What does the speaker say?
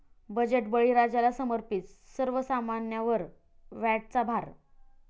budget बळीराजाला समर्पित, सर्वसामन्यांवर व्हॅटचा भार